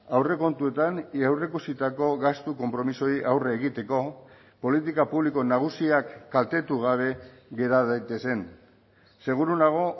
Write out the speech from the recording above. aurrekontuetan aurreikusitako gastu konpromisoei aurre egiteko politika publiko nagusiak kaltetu gabe gera daitezen seguru nago